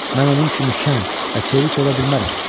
Mən onun kimi şən və çevik ola bilmərəm.